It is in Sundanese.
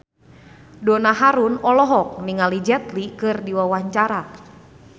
Donna Harun olohok ningali Jet Li keur diwawancara